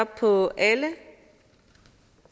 på alle